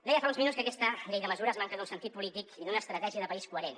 deia fa uns minuts que aquesta llei de mesures manca d’un sentit polític i d’una estratègia de país coherent